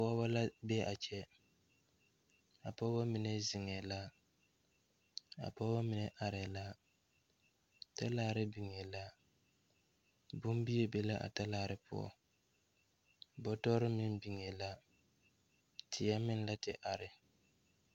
Pɔɔbɔ la bee a kyɛ a pɔɔbɔ mine zeŋɛɛ la a pɔɔbɔ mine areɛɛ la talaare biŋee la bonbie be la a talaare poɔ bɔtɔrre meŋ biŋee la teɛ meŋ la te are.